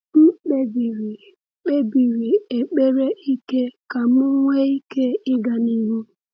M kpebiri kpebiri ekpere ike ka m nwee ike ịga n’ihu.